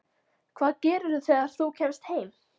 Hvað gerirðu þegar þú kemst heim?